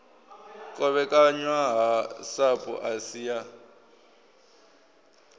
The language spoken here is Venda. kovhekanywa ha sapu asi ya